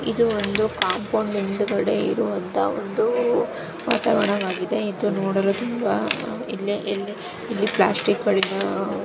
ಇದು ಒಂದು ಕಾಂಪೌಂಡ್ ಹಿಂದ್ಗಡೆ ಇರುವಂತಹ ಒಂದೂ ವಾತಾವರಣವಾಗಿದೆ. ಇದು ನೋಡಲು ತುಂಬಾ ಇಲ್ಲಿ -ಇಲ್ಲಿ -ಇಲ್ಲಿ ಪ್ಲಾಸ್ಟಿಕ್ ಗಳಿನ--